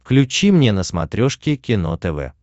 включи мне на смотрешке кино тв